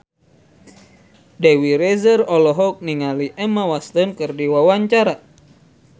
Dewi Rezer olohok ningali Emma Watson keur diwawancara